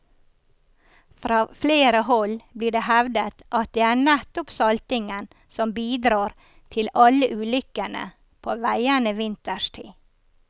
Fra flere hold blir det hevdet at det er nettopp saltingen som bidrar til alle ulykkene på veiene vinterstid.